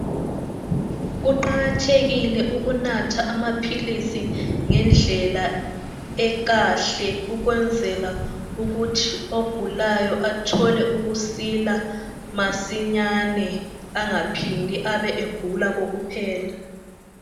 Kuqakathekile ukunatha amaphilisi ngendlela ekahle ukwenzela ukuthi ogulayo athole ukusila masinyane angaphindi abe elokhe egula kokuphela.